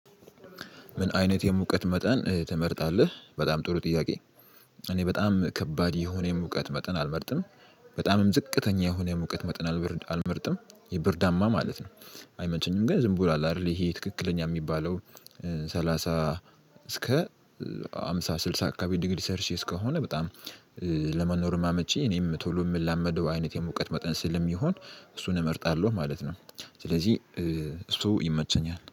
ምን አይነት የሙቀት መጠን ትመርጣለህ በጣም ጥሩ ጥያቄ? እኔ በጣም ከባድ የሆነ የሙቀት መጠን አልመርጥም በጣምም ዝቅተኛ የሆነ የሙቀት መጠን አልመርጥም የብርዳማ ማለት ነው። አይመቸኝም ግን ዝም ብሎ አለ አይደለ ይሄ ትክክለኛ የሚባለው። ሰላሳ እስከ ሃምሳ ስልሳ አካባቢ ዲግሪ ሼልሽይስ ከሆነ በጣም። ለመኖርም አመቺ እኔም ቶሎ የምላመደው አይነት የሙቀት መጠን ስለሚሆን እሱን እመርጣለሁ ማለት ነው። ስለዚህ እሱ ይመቸኛል